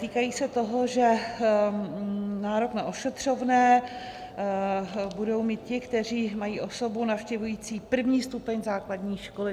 Týkají se toho, že nárok na ošetřovné budou mít ti, kteří mají osobu navštěvující první stupeň základní školy.